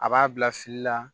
A b'a bila fili la